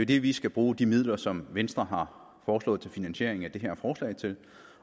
det vi skal bruge de midler som venstre har foreslået til finansiering af det her forslag til